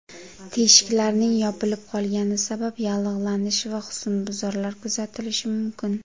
Teshiklarning yopilib qolgani sabab yallig‘lanish va husnbuzarlar kuzatilishi mumkin.